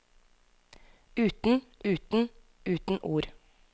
Uten, uten, uten ord.